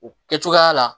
O kɛ cogoya la